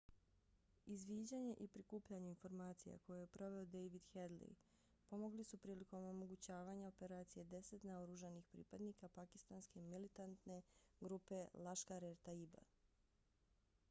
izviđanje i prikupljanje informacija koje je proveo david headley pomogli su prilikom omogućavanja operacije deset naoružanih pripadnika pakistanske militantne grupe laskhar-e-taiba